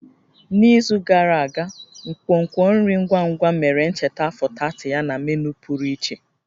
N'izu gara aga, nkwonkwo nri ngwa ngwa mere ncheta afọ 30 ya na menu pụrụ iche